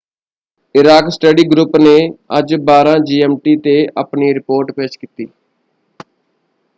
Iraq study group ਨੇ ਅੱਜ 12.00 GMT 'ਤੇ ਆਪਣੀ ਰਿਪੋਰਟ ਪੇਸ਼ ਕੀਤੀ।